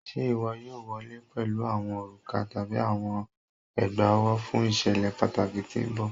Ṣe iwọ yoo wọle pẹlu awọn oruka tabi awọn egbaowo fun iṣẹlẹ pataki ti n bọ?